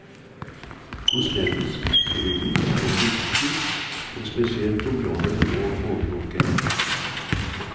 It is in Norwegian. Kosmetisk kirurgi er et viktig og spesielt område å overvåke.